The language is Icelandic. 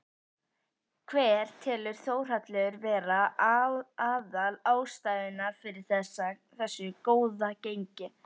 Hver telur Þórhallur vera aðal ástæðuna fyrir þessu góða gengi?